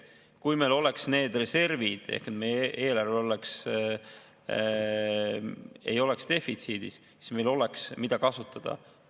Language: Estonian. Kui meil oleks need reservid ehk meie eelarve ei oleks defitsiidis, siis meil oleks, mida kasutada.